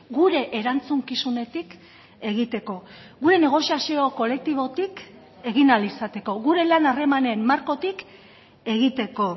gure erantzukizunetik egiteko gure negoziazio kolektibotik egin ahal izateko gure lan harremanen markotik egiteko